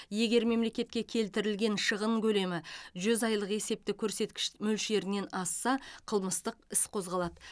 егер мемлекетке келтірілген шығын көлемі жүз айлық есептек көрсеткіш мөлшерінен асса қылмыстық іс қозғалады